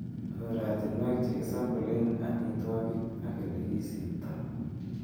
Oratinwek chekisampolenen amitwogik ak elekisiptoo.